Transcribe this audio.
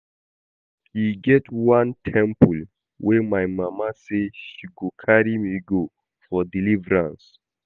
E get one temple wey my mama say she go carry me go for deliverance